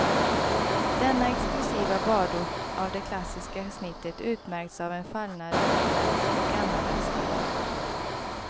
Denna exklusiva badort av det klassiska snittet utmärks av en fallnad elegans och gammaldags charm.